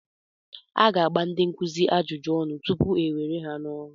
A ga-agba ndị nkuzi ajụjụ ọnụ tupu e were ha n'ọrụ.